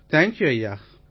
thank you ஐயா